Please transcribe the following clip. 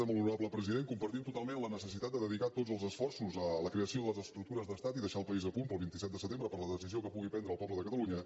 molt honorable president compartim totalment la necessitat de dedicar tots els esforços a la creació de les estructures d’estat i deixar el país a punt per al vint set de setembre per a la decisió que pugui prendre el poble de catalunya